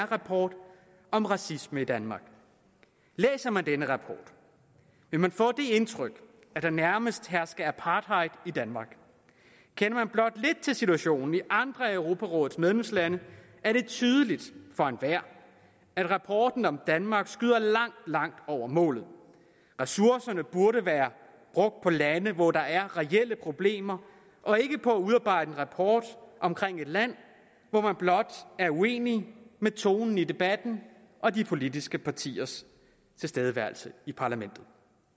rapport om racisme i danmark læser man denne rapport vil man få det indtryk at der nærmest hersker apartheid i danmark kender man blot lidt til situationen i andre af europarådets medlemslande er det tydeligt for enhver at rapporten om danmark skyder langt langt over målet ressourcerne burde være brugt på lande hvor der er reelle problemer og ikke på at udarbejde en rapport om et land hvor man blot er uenig med tonen i debatten og de politiske partiers tilstedeværelse i parlamentet